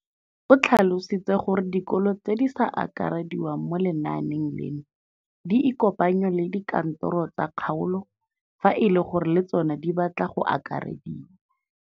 O tlhalositse gore dikolo tse di sa akarediwang mo lenaaneng leno di ikopanye le dikantoro tsa kgaolo fa e le gore le tsona di batla go akarediwa.